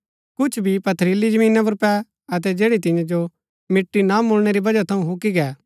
कुछ बी पथरीली जमीना पुर पै अतै जैड़ी तियां जो मिट्टी ना मुळणै री बजह थऊँ हुक्की गै